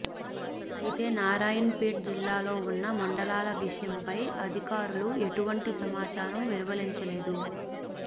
అయితే నారాయణపేట్ జిల్లాలో ఉన్న మండలాల విషయంపై అధికారులు ఎటువంటి సమాచారం వెలువరించలేదు